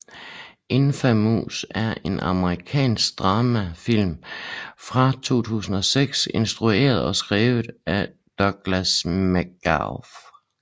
Infamous er en amerikansk dramafilm fra 2006 instrueret og skrevet af Douglas McGrath